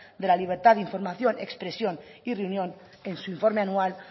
de la libertad de información expresión y reunión en su informe anual